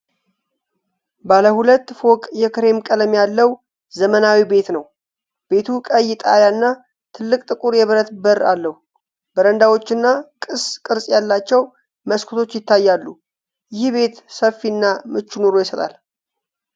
ባለ ሁለት ፎቅ የክሬም ቀለም ያለው ዘመናዊ ቤት ነው። ቤቱ ቀይ ጣሪያ እና ትልቅ ጥቁር የብረት በር አለው። በረንዳዎችና ቅስ ቅርጽ ያላቸው መስኮቶች ይታያሉ። ይህ ቤት ሰፊ እና ምቹ ኑሮ ይሰጣል?